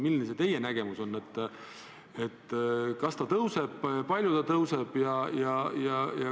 Milline on teie nägemus: kas see tõuseb ja kui tõuseb, siis kui palju?